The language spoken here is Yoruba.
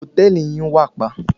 Hòtẹ́ẹ̀lì yín wàpa.